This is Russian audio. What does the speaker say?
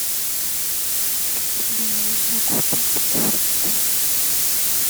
где можно купить куртку